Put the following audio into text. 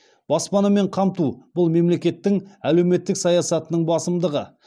баспанамен қамту бұл мемлекеттің әлеуметтік саясатының басымдығы